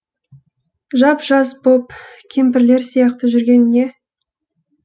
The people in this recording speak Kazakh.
жап жас боп кемпірлер сияқты жүрген не